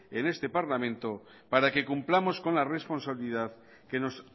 en este parlamento para que cumplamos con la responsabilidad que nos